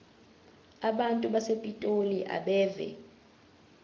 abantu basepitoli abeve